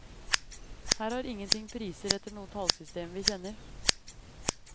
Her har ingenting priser etter noe tallsystem vi kjenner.